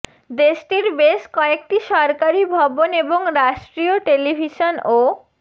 দেশটির বেশ কয়েকটি সরকারি ভবন এবং রাষ্ট্রীয় টেলিভিশন ও